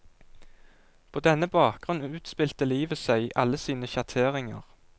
På denne bakgrunn utspilte livet seg, i alle sine sjatteringer.